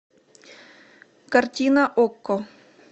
картина окко